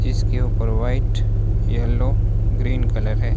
जिसके ऊपर white yellow green colour है।